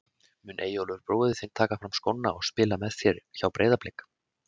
Mun Eyjólfur bróðir þinn taka fram skónna og spila með þér hjá Breiðablik?